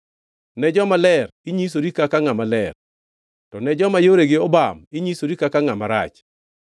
ne jomaler, inyisori kaka ngʼama ler, to ne joma yoregi obam, inyisori kaka ngʼama rach.